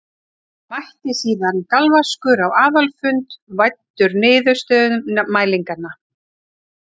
Mætti síðan galvaskur á aðalfund væddur niðurstöðum mælinganna.